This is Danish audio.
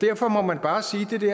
derfor må man bare sige